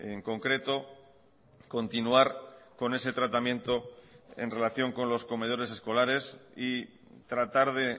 en concreto continuar con ese tratamiento en relación con los comedores escolares y tratar de